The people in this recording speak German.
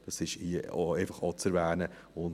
Das ist hier einfach auch zu erwähnen.